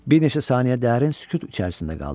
Bir neçə saniyə dərin sükut içərisində qaldı.